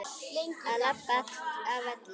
Að labba af velli?